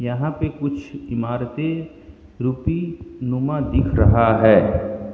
यहां पे कुछ इमारतें रूपी नुमा दिख रहा है।